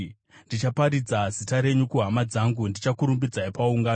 Ndichaparidza zita renyu kuhama dzangu; ndichakurumbidzai paungano.